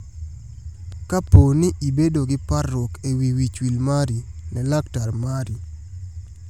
Kapo ni ibedo gi parruok e wi wichwil mari, ne laktar mari.